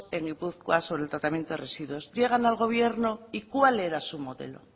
en gipuzkoa sobre el tratamiento residuos llegan al gobierno y cuál era su modelo